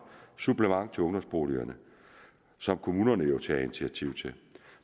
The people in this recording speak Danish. supplement til ungdomsboligerne som kommunerne jo tager initiativ til